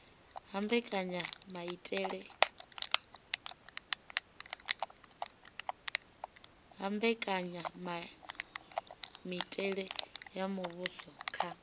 ha mbekanyamitele ya muvhuso kha